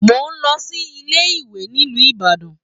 Mo n lọ sí ilé ìwé nílu Ìbàdàn.